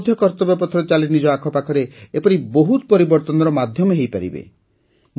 ଆପଣ ମଧ୍ୟ କର୍ତ୍ତବ୍ୟପଥରେ ଚାଲି ନିଜ ଆଖପାଖରେ ଏପରି ବହୁତ ପରିବର୍ତ୍ତନର ମାଧ୍ୟମ ହୋଇପାରିବେ